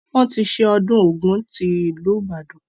Wọn tí ṣe ọdún Ògún tí ìlú Ìbàdàn.